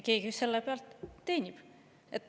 Keegi ju selle pealt teenib.